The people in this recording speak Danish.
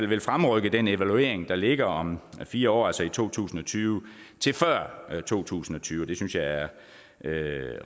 vil fremrykke den evaluering der ligger om fire år altså i to tusind og tyve til før to tusind og tyve det synes jeg er